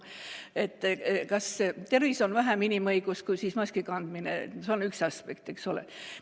Kas tervis on siis vähem inimõigus kui õigus maski mitte kanda, see on üks aspekt, eks ole.